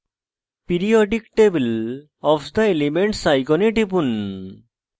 periodic table of the elements icon টিপুন